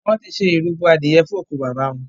Wón tí ṣe ìrúbo adìye fún oku bàbá wón.